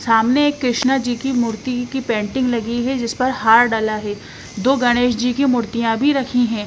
सामने एक कृष्णा जी की मूर्ति की पेंटिंग लगी है जिस पर हार डला है दो गणेश जी की मूर्तियां भी रखी हैं।